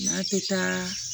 N'a tɛ taa